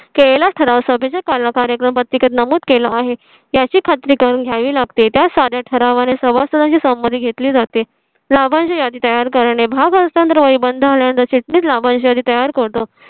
केले ला ठराव सभेच्या काला कार्यक्रम पत्रिकेत नमूद केलं आहे याची खात्री करून घ्यावी लागते. त्या साऱ्या ठरावा ने समस्त यांची समाधी घेतली जाते. लाभांश ची यादी तयार करणे भाग असताना ही बंद होण्याची चिटणीस लाभांश यादी तयार करतो